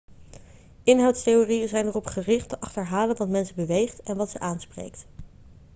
inhoudstheorieën zijn erop gericht te achterhalen wat mensen beweegt en wat ze aanspreekt